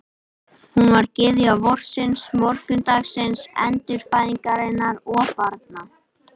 Hún var gyðja vorsins, morgunsins, endurfæðingarinnar og barna.